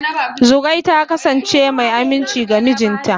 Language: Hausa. Zugwai ta kasance mai aminci ga mijinta.